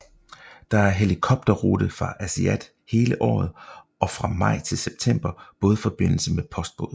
Der er helikopterrute fra Aasiaat hele året og fra maj til september bådforbindelse med postbåd